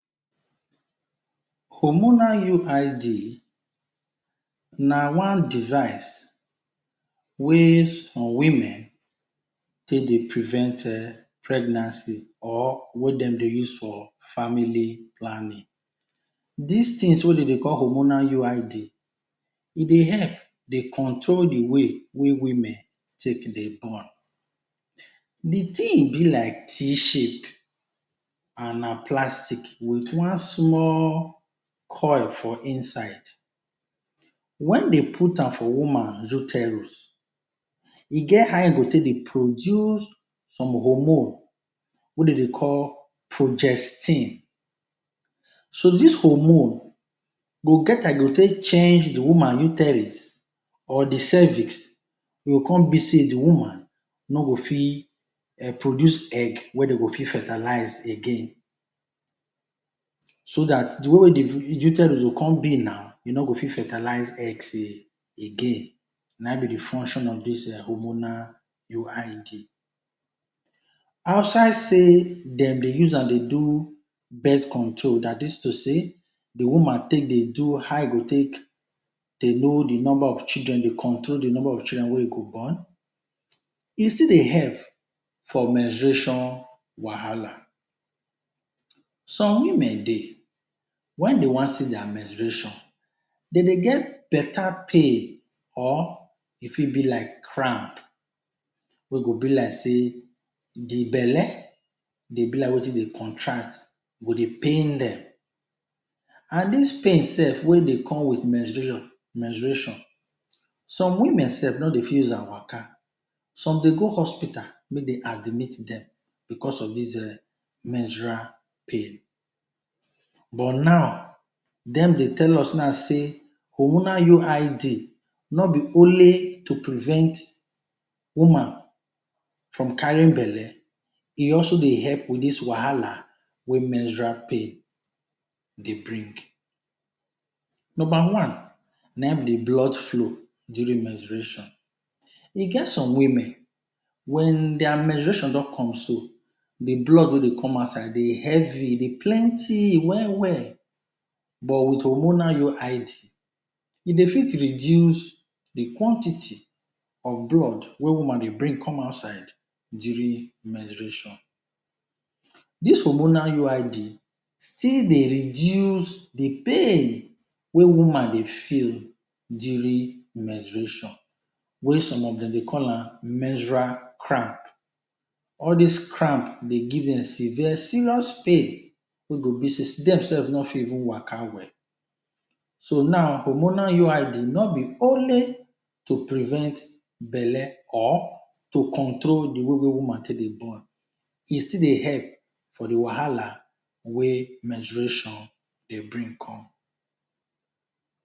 Hormonal UID na one device wey some women take dey prevent um pregnancy or wey dem dey use for family planning. Dis tins wey dem dey call hormonal UID e dey help dey control di way wey women take dey born, di tin be like c shape and na plastic wit one small coil for inside, wen dey out am for woman uterus, e get how e go take dey produce some hormones wey de dey call pogestine, so dis hormone go det as e go take change di woman uterus or di cervices he go come be sey di woman no go fit produce egg wey de go fit fertilize again. So dat di way wey di uterus go come be now e no go fit fertilize again, na him be di function of dis hormonal UID, outside sey dem dey use am to do birth control dat is to say di woman take dey do how e go take dey know di number of children dey control di number of children wey e go born, e still dey help for menstruation wahala, some women dey wen dey wan see dia menstruation dem dey get beta pain or e fit be like cramp wey go be like sey di belle go be like watin dey contract, e go dey pain dem and dis pain self wey dey com wit menstruation, some women self no dey fit use am waka, some dey go hospital make de admit dem because of dis menstrual pain but now dem dey tell us now say hormonal UID no be only to prevent woman from carrying belle, e also dey help wit dis wahala wey menstrual pain dey bring. Number one na him be di blood flow during menstruation, e get some women wen dia menstruation don come so, di blood wey dey come outside dey heavy, dey plenty well well but wit hormonal UID e dey fit reduce di quantity of blood wey woman dey bring come outside durng menstruation. Dis hormonal UID still dey reduce di pain wey woman dey feel during menstruation, wey some of dem dey call am menstrual cramp, all dis cramp dey give dem severe serious pain wey go be sey step self fit no waka well. So now hormonal UID no be only to prevent belle or to control di way wey woman dey take dey born, e still dey help for di wahala wey menstruation dey brink come